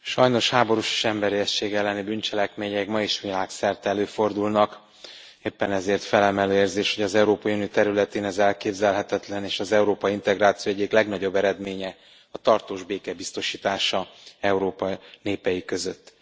Elnök Úr, sajnos háborús és emberiesség elleni bűncselekmények még ma is világszerte előfordulnak, éppen ezért felemelő érzés, hogy az Európai Unió területén ez elképzelhetetlen és az európai integráció egyik legnagyobb eredménye a tartós béke biztosítása Európa népei között.